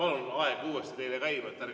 Ja palun aeg uuesti teile käima!